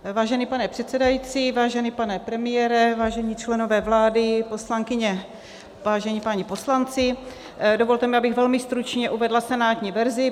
Vážený pane předsedající, vážený pane premiére, vážení členové vlády, poslankyně, vážení páni poslanci, dovolte mi, abych velmi stručně uvedla senátní verzi.